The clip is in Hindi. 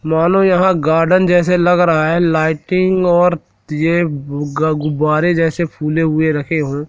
मानो यहां गार्डन जैसे लग रहा है लाइटिंग और ये ग गुब्बारे जैसे फूले हुए रखे हो।